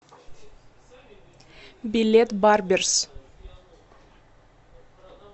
билет барберзз